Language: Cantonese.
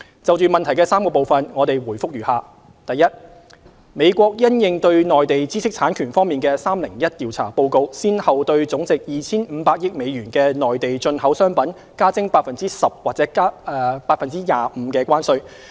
就質詢的3個部分，我們的回覆如下：一美國因應對內地知識產權方面的 "301 調查"報告先後對總值 2,500 億美元的內地進口商品加徵 10% 或 25% 的關稅。